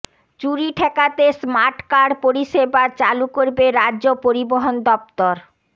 চুরি ঠেকাতে smart card পরিষেবা চালু করবে রাজ্য পরিবহণ দফতর